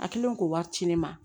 A kɛlen k'o wari ci ne ma